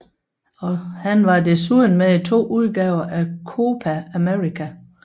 Han var desuden med i to udgaver af Copa América